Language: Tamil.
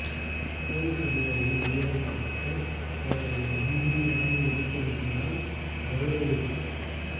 போலீஸ் அதிகாரியின் உயிரை காப்பாற்ற போராடிய மந்திரி ராணி எலிசபத்தினால் கௌரவிப்பு